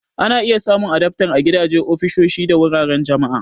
Ana iya samun adaftar a gidaje, ofisoshi, da wuraren jama'a.